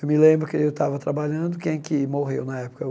Eu me lembro que eu estava trabalhando, quem é que morreu na época?